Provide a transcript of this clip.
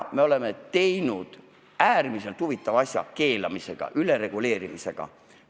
Me oleme keelamisega, ülereguleerimisega tekitanud äärmiselt huvitava olukorra.